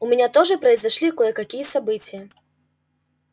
у меня тоже произошли кое-какие события